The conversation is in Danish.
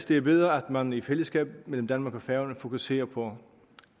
det er bedre at man i fællesskab mellem danmark og færøerne fokuserer på